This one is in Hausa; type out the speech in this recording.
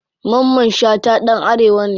Mamman shata ɗan arewa ne.